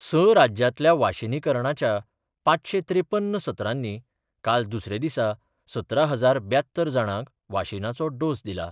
स राज्यांतल्या वाशीनीकरणाच्या पाचशे त्रेपन्न सत्रांनी काल दुसरे दिसा सतरा हजार ब्यात्तर जाणांक वाशीनाचो डोस दिला.